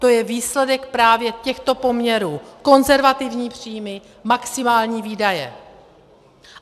To je výsledek právě těchto poměrů: konzervativní příjmy, maximální výdaje.